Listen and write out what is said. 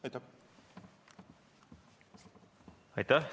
Aitäh!